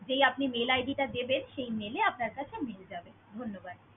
যেই আপনি mail id টা দেবেন, সেই mail এ আপনার কাছে mail যাবে। ধন্যবাদ।